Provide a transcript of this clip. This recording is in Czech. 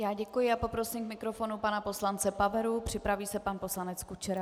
Já děkuji a poprosím k mikrofonu pana poslance Paveru, připraví se pan poslanec Kučera.